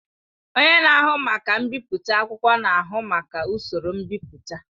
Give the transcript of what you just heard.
Onye na-ahụ maka mbipụta akwụkwọ na-ahụ maka usoro mbipụta.